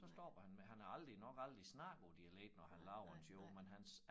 Så stoppede han med han har aldrig nok aldrig snakket på dialekt når han laver en show men hans